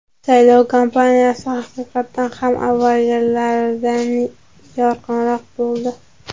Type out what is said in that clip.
Saylov kampaniyasi, haqiqatan ham avvalgilaridan yorqinroq bo‘ldi.